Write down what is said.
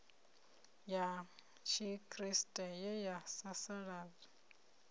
ya tshikriste ye ya sasaladza